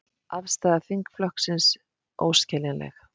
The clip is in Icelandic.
Afstaða þingflokksins óskiljanleg